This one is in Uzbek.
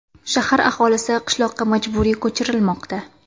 Shahar aholisi qishloqqa majburiy ko‘chirilmoqda.